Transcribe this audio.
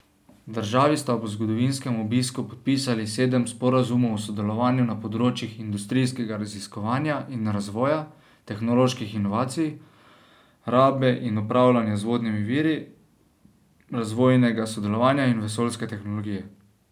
Državi sta ob zgodovinskem obisku podpisali sedem sporazumov o sodelovanju na področjih industrijskega raziskovanja in razvoja, tehnoloških inovacij, rabe in upravljanja z vodnimi viri, razvojnega sodelovanja in vesoljske tehnologije.